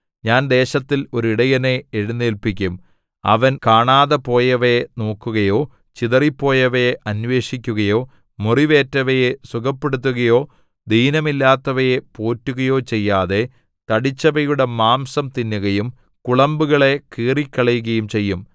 ഞാൻ ദേശത്തിൽ ഒരു ഇടയനെ എഴുന്നേല്പിക്കും അവൻ കാണാതെപോയവയെ നോക്കുകയോ ചിതറിപ്പോയവയെ അന്വേഷിക്കുകയോ മുറിവേറ്റവയെ സുഖപ്പെടുത്തുകയോ ദീനമില്ലാത്തവയെ പോറ്റുകയോ ചെയ്യാതെ തടിച്ചവയുടെ മാംസം തിന്നുകയും കുളമ്പുകളെ കീറിക്കളയുകയും ചെയ്യും